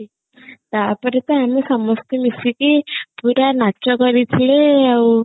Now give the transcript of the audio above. ତାପରେ ତ ଆମେ ସମସ୍ତେ ମିଶିକି ପୁରା ନାଚ କରିଥିଲେ ଆଉ